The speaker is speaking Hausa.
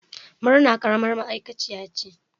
Murna karamar ma'aikaciya ce